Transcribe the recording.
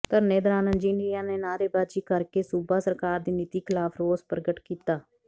ਧਰਨੇ ਦੌਰਾਨ ਇੰਜਨੀਅਰਾਂ ਨੇ ਨਾਅਰੇਬਾਜ਼ੀ ਕਰਕੇ ਸੂਬਾ ਸਰਕਾਰ ਦੀ ਨੀਤੀ ਖਿਲਾਫ਼ ਰੋਸ ਪ੍ਰਗਟ ਕੀਤਾ